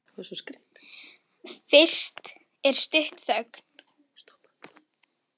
Fyrst er stutt þögn.